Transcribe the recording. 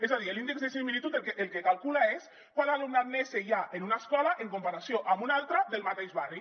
és a dir l’índex de dissimilitud el que calcula és quant alumnat nese hi ha en una escola en comparació amb una altra del mateix barri